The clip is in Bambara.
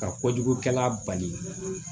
Ka kojugukɛla bali